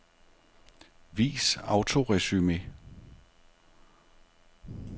Vis autoresumé.